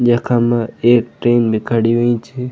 यखम एक ट्रेन भी खड़ीं हुईं च।